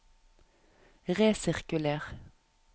resirkuler